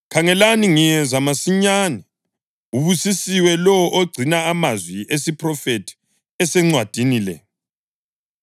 “Khangelani, ngiyeza masinyane! Ubusisiwe lowo ogcina amazwi esiphrofethi asencwadini le.”